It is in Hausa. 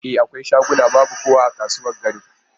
E, akwai shaguna babu kowa a kasuwar garin.